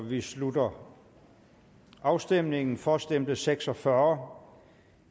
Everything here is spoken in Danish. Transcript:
vi slutter afstemningen for stemte seks og fyrre